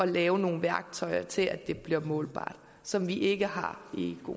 lave nogle værktøjer til at det bliver målbart som vi ikke har